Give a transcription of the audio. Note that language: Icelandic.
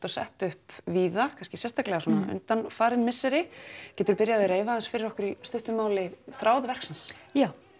og sett upp víða kannski sérstaklega svona undanfarin misseri getur þú byrjað að reifa því aðeins fyrir okkur í stuttu máli þráð verksins já